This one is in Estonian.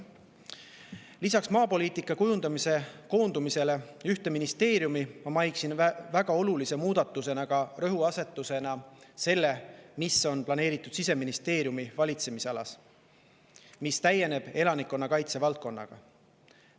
Lisaks maapoliitika kujundamise koondumisele ühte ministeeriumi mainiksin väga olulise muudatuse ja rõhuasetusena seda, mis on planeeritud Siseministeeriumi valitsemisalas: see täieneb elanikkonnakaitse valdkonnaga.